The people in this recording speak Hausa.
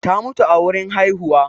ta mutu a wurin haihuwa